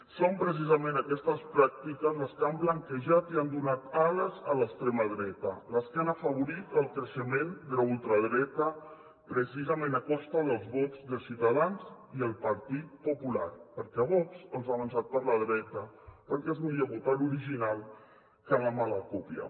són precisament aquestes pràctiques les que han blanquejat i han donat ales a l’extrema dreta les que han afavorit el creixement de la ultradreta precisament a costa dels vots de ciutadans i el partit popular perquè vox els ha avançat per la dreta perquè és millor votar l’original que la mala còpia